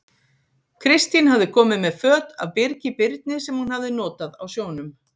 Kristín hafði komið með föt af Birgi Birni, sem hann hafði notað á sjónum.